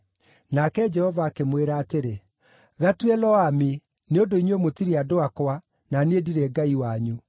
Nake Jehova akĩmwĩra atĩrĩ, “Gatue Lo-Ammi, nĩ ũndũ inyuĩ mũtirĩ andũ akwa, na niĩ ndirĩ Ngai wanyu.